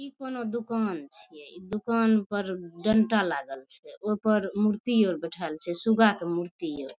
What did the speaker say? इ कोनो दुकान छिये इ दुकान पर डांटा लागल छै ओय पर मूर्ति आर बेठाएल छै सुगा के मूर्ति आर।